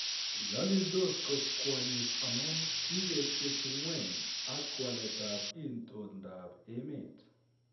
Nyalildos kot kwonyik amun kigetyeki ng'weny ak walet ap itondap emet.